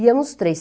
Íamos três.